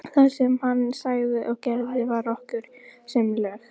Það sem hann sagði og gerði var okkur sem lög.